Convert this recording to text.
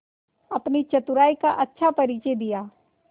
अपनी चतुराई का अच्छा परिचय दिया